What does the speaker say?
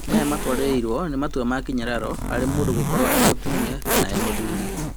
Maya matũarĩrĩirwo nĩ matua makĩnyararo harĩ mũndũ gũkorwo e-mũtumia kana e-mũthuri.